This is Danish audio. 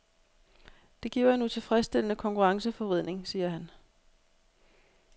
Det giver en utilfredsstillende konkurrenceforvridning, siger han.